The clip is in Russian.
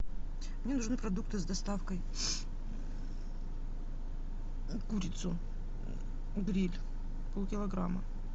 мне нужны продукты с доставкой курицу гриль полкилограмма